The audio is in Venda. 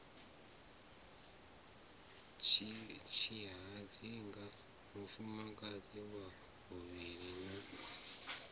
tshihadzinga mufumakadzi wa vhuvhili na